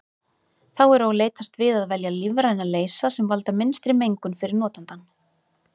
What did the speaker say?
Þá er og leitast við að velja lífræna leysa sem valda minnstri mengun fyrir notandann.